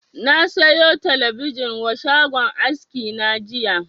Na saya talabijin wa shagon aski na jiya